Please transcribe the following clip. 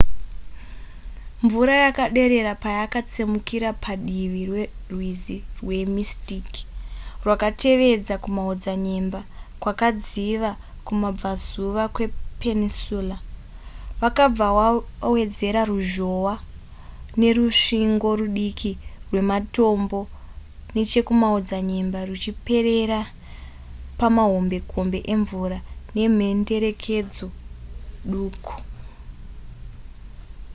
mvura yakaderera payakatsemura padivi perwizi rwemystic rwakatevedza kumaodzanyemba kwakadziva kumabvazuva kwepeninsula vakabva vawedzera ruzhohwa nerusvingo rudiki rwematombo nechekumaodzanyemba ruchiperera pamahombekombe emvura nemhenderekedzo duku